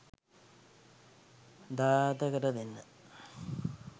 දායාද කර දෙන්න.